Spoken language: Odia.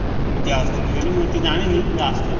ତାଂକ ଭିତରୁ କିଏ ଆସିଛନ୍ତି କେଜାଣି ମୁଁ ଏତେ ଜଣିନି ହେଲେ ଆସିଛନ୍ତି।